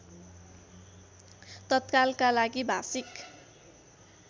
तत्कालका लागि भाषिक